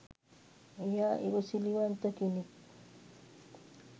එයා ඉවසිලිවන්ත කෙනෙක්